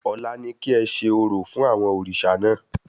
Ọ̀la ni kí ẹ ṣe orò fún àwọn òrìṣà náà